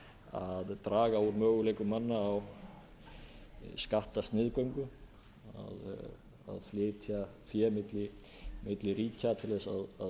að draga úr möguleikum manna á skattasniðgöngu að flytja fé milli ríkja til að sniðganga skattalöggjöf hér og